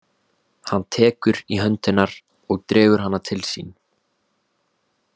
Hann tekur í hönd hennar og dregur hana til sín.